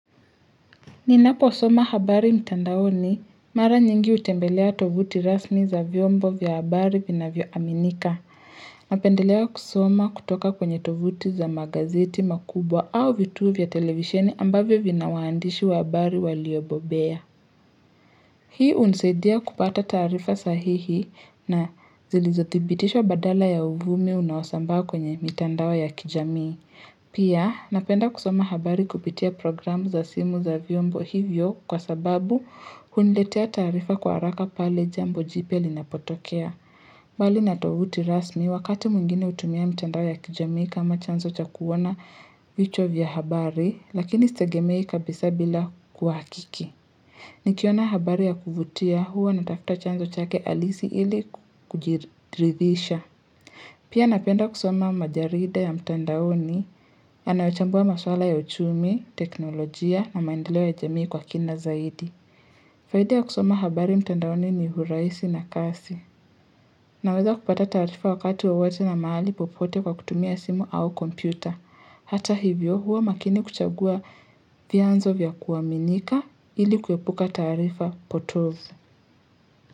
Ninapo soma habari mtandaoni mara nyingi hutembelea tovuti rasmi za vyombo vya habari vinavyo aminika. Napendelea kusoma kutoka kwenye tovuti za magazeti makubwa au vituo vya televisheni ambavyo vinawaandishi wa habari waliobobea. Hii unisaidia kupata taarifa sahihi na zilizothibitishwa badala ya uvumi unaosambaa kwenye mitandao ya kijamii. Pia napenda kusoma habari kupitia programu za simu za vyombo hivyo kwa sababu huniletea taarifa kwa haraka pale jambo jipya linapotokea. Mbali na tovuti rasmi wakati mwingine hutumia mitandao ya kijamii kama chanzo cha kuona vichwa vya habari lakini sitegemei kabisa bila kuhakiki. Nikiona habari ya kuvutia huwa natafuta chanzo chake halisi ili kujiridhisha. Pia napenda kusoma majarida ya mtandaoni ya naochambua maswala ya uchumi, teknolojia na maendeleo ya jamii kwa kina zaidi. Faida ya kusoma habari mtandaoni ni hurahisi na kasi. Naweza kupata taarifa wakati wowote na mahali popote kwa kutumia simu au kompyuta. Hata hivyo huwa makini kuchagua vyanzo vya kuaminika ili kuepuka taarifa potofu.